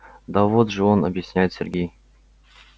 да вот же он объясняет сергей